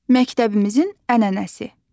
Məktəbimizin ənənəsi.